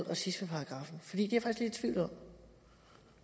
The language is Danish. racismeparagraf der